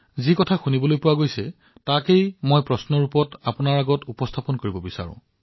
মই কি শুনিছো সেই বিষয়ে এটা প্ৰশ্ন হিচাপে মই আপোনাৰ সন্মুখত উপস্থাপন কৰি আছো